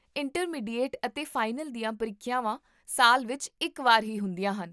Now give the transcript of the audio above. intermediate ਅਤੇ final ਦੀਆਂ ਪ੍ਰੀਖਿਆਵਾਂ ਸਾਲ ਵਿੱਚ ਇੱਕ ਵਾਰ ਹੀ ਹੁੰਦੀਆਂ ਹਨ